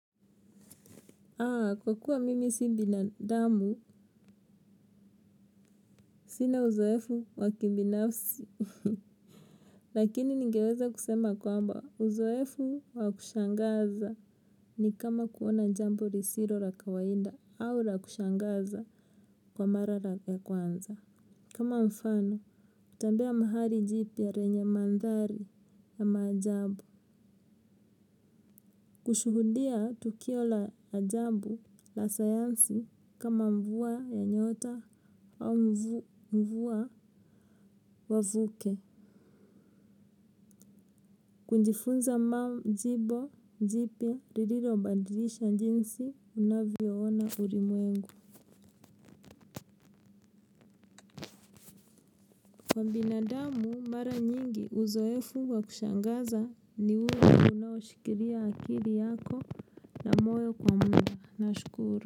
Kwa kuwa mimi si binadamu, sina uzoefu wa kibinafsi. Lakini ningeweza kusema kwamba uzoefu wa kushangaza ni kama kuona jambo risiro la kawaida au la kushangaza kwa mara ya kwanza. Kama mfano, utatembea mahali jipya lenye mandhari ya maajabu. Kushuhudia tukio la ajabu la sayansi kama mvua ya nyota au mvua wavuke. Kujifunza mamu njibo jipya lililobadilisha jinsi unavyoona ulimwengu. Kwa binadamu mara nyingi uzoefu wa kushangaza ni huwa unaoshikilia akili yako na moyo kwa mna nashukuru.